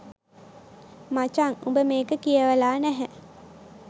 මචං උඹ මේක කියවලා නැහැ.